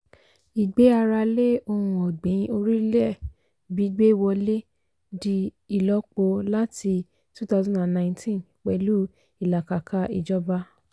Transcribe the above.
ìgbé ara lé ohun ọ̀gbìn orílẹ̀ gbígbé wọlé di ìlọ́po láti two thousand and nineteen pẹ̀lú ìlàkàkà ìjọba.